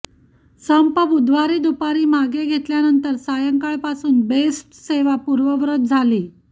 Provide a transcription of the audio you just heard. संप बुधवारी दुपारी मागे घेतल्यानंतर सायंकाळपासून बेस्टसेवा पूर्ववत झाली